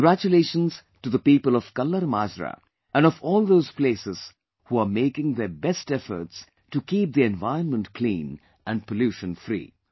Congratulations to the people of KallarMajra and of all those places who are making their best efforts to keep the environment clean and pollution free